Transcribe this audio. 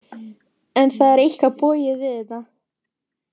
En það er eitthvað bogið við þetta.